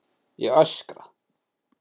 Ég öskra.